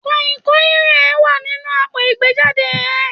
Kànyìnkànyìn e wa ninu àpo ìgbéjade e